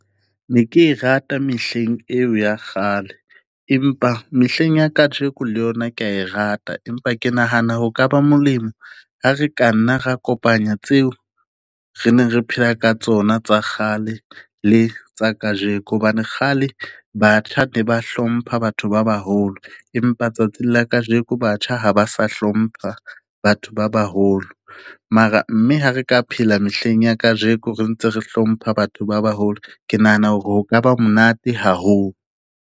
Ne ke e rata mehleng eo ya kgale, empa mehleng ya kajeko le yona ke ya e rata. Empa ke nahana ho ka ba molemo ha re ka nna ra kopanya tseo re neng re phela ka tsona tsa kgale le tsa kajeko. Hobane kgale batjha ne ba hlompha batho ba baholo, empa tsatsing la kajeko batjha ha ba sa hlompha batho ba baholo. Mara mme ha re ka phela mehleng ya kajeko re ntse re hlompha batho ba baholo, ke nahana hore ho ka ba monate haholo.